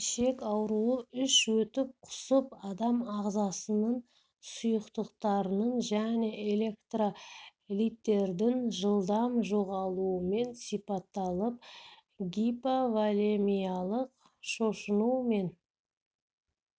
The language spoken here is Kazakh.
ішек ауруы іш өтіп құсып адам ағзасыныңсұйықтарының және электролиттердің жылдам жоғалуымен сипатталып гиповолемиялық шошыну мен